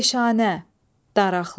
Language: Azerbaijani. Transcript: Beşanə, daraqla.